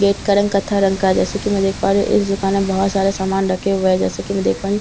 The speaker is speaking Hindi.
गेट का रंग कत्था रंग का है जैसे की मैं देख पा रही हूँ इस दुकान में बहुत सारे सामान रखे हुए हैं जैसे की मैं देख पा रही हूँ --